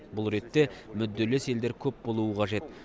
бұл ретте мүдделес елдер көп болуы қажет